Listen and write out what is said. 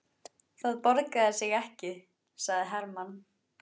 Það borgar sig ekki, sagði Hermann.